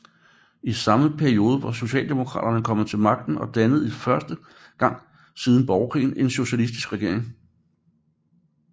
I samme periode var socialdemokraterne kommet til magten og dannede for første gang siden borgerkrigen en socialistisk regering